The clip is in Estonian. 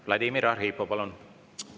Vladimir Arhipov, palun!